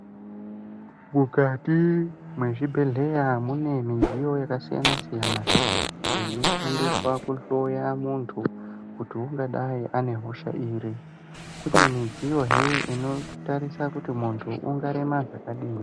Mwukati mwezvibhedhlera mune midziyo yakasiyana siyana iyo inoshandiswawo kuhloya muntu kuti ungadai une hosha iri ,kune midziyo hee inotarisa muntu kuti ungarema zvakadini.